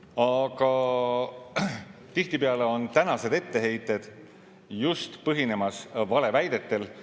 Aga tihtipeale põhinevad tänased etteheited just valeväidetel.